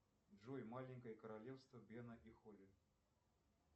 джой маленькое королевство бена и холли